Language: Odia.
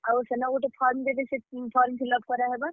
ଆଉ ସେନ ଗୁଟେ form ଦେବେ, ସେଥି form fillup କରାହେବା।